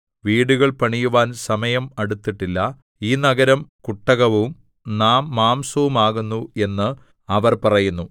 വീടുകൾ പണിയുവാൻ സമയം അടുത്തിട്ടില്ല ഈ നഗരം കുട്ടകവും നാം മാംസവുമാകുന്നു എന്ന് അവർ പറയുന്നു